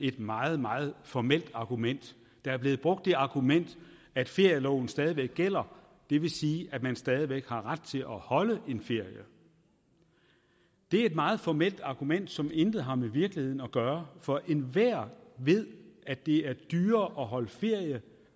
et meget meget formelt argument der er blevet brugt det argument at ferieloven stadig væk gælder det vil sige at man stadig væk har ret til at holde en ferie det er et meget formelt argument som intet har med virkeligheden at gøre for enhver ved at det er dyrere at holde ferie